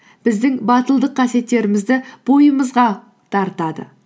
біздің батылдық қасиеттерімізді бойымызға дарытады